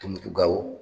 Tumutu ga o